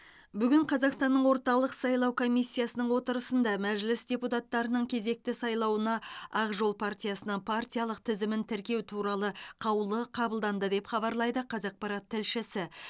бүгін қазақстанның орталық сайлау комиссиясының отырысында мәжіліс депутаттарының кезекті сайлауына ақ жол партиясының партиялық тізімін тіркеу туралы қаулы қабылданды деп хабарлайды қазақпарат тілшісі